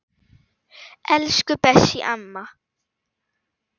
Elsku Bessý amma.